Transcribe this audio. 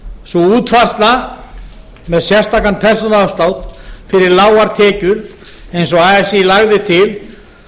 sú útfærsla með sérstakan persónuafslátt fyrir lágar tekjur eins og así lagði til